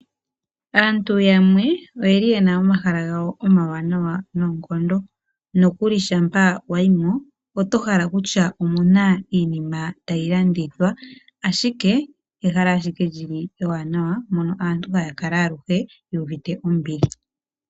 Aantu yamwe oyeli yina omahala gawo omawanawa noonkondo. Nokuli shampa wayi mo oto hala kutya omuna iinima tayi landithwa ashike ehala ashike li li ewanawa mono aantu haya kala yuuvite ombili.